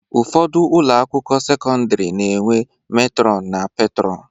Ụfọdụ ụlọakwụkwọ sekọndịrị na-enwe metrọn na petrọn